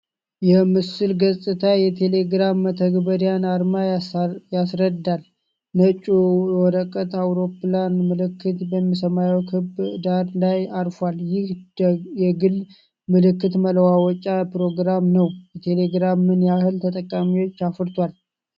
የምስሉ ገጽታ የቴሌግራም መተግበሪያን አርማ ያስረዳል። ነጩ የወረቀት አውሮፕላን ምልክት በሰማያዊ ክብ ዳራ ላይ አርፏል። ይህ የግል መልዕክት መለዋወጫ ፕሮግራም ነው። ቴሌግራም ምን ያህል ተጠቃሚዎች አፍርቷል?